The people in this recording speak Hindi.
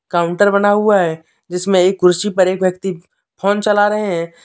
काउंटर बना हुआ है जिसमे एक कुर्सी पर एक व्यक्ति फोन चला रहे हैं।